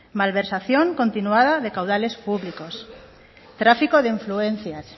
malversación continuada de caudales públicos tráfico de influencias